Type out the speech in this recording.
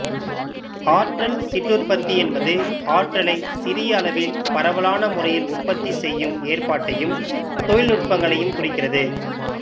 ஆற்றல் சிற்றுற்பத்தி என்பது ஆற்றலை சிறிய அளவில் பரவலான முறையில் உற்பத்தி செய்யும் ஏற்பாட்டையும் தொழில்நுட்பங்களையும் குறிக்கிறது